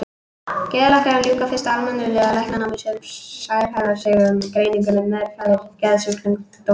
Geðlæknar ljúka fyrst almennu læknanámi en sérhæfa sig svo í greiningu og meðferð geðsjúkdóma.